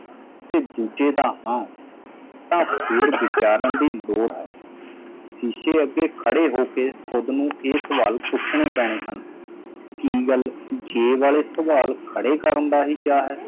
ਤੇ ਦੂਜੇ ਦਾ ਹਾਂ ਤਾਂ ਫੇਰ ਵਿਚਾਰਣ ਦੀ ਲੋੜ ਹੈ ਸ਼ੀਸ਼ੇ ਅੱਗੇ ਖੜੇ ਹੋ ਕੇ ਖੁੱਦ ਨੂੰ ਇਹ ਸਵਾਲ ਪੁੱਛਣੇ ਪੈਣੇ ਹਨ ਕੀ ਗੱਲ ਜੇ ਵਾਲੇ ਸਵਾਲ ਖੜੇ ਕਰਣ ਦਾ ਹੀ ਚਾਅ ਹੈ